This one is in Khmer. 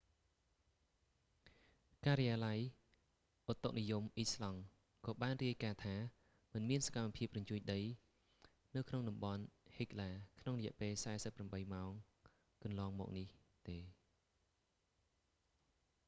ការិយាល័យឧតុនិយមអ៊ីស្លង់ក៏បានរាយការណ៍ថា មិនមានសកម្មភាពរញ្ជួយដីនៅក្នុងតំបន់ហិកឡា hekla ក្នុងរយៈពេល 48 ម៉ោងកន្លងមកនេះទេ